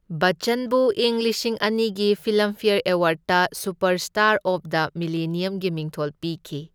ꯕꯠꯆꯟꯕꯨ ꯏꯪ ꯂꯤꯁꯤꯡ ꯑꯅꯤꯒꯤ ꯐꯤꯜꯂꯝꯐꯦꯌꯔ ꯑꯦꯋꯥꯔ꯭ꯗꯇ ꯁꯨꯄꯔꯁ꯭ꯇꯥꯔ ꯑꯣꯐ ꯗ ꯃꯤꯂꯦꯅꯤꯌꯝꯒꯤ ꯃꯤꯡꯊꯣꯜ ꯄꯤꯈꯤ꯫